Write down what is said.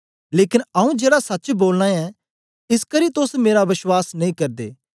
लेकन आऊँ जेड़ा सच्च बोलना ऐं इसकरी तोस मेरा बश्वास नेई करदे